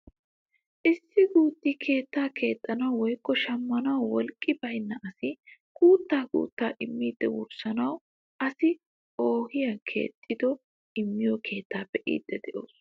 Issi gutti keettaa keexxanwu woykko shammanawu wolqqi baynna asay guuttaa guttaa immiidi wurssanawu assi oohiyaa keexxidi immiyoo keettaa be'iidi de'oos.